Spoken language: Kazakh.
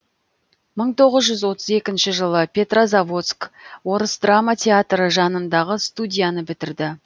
мың тоғыз жүз отыз екінші жылы петрозаводск орыс драма театры жанындағы студияны бітірді